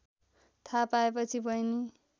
थाहा पाएपछि बहिनी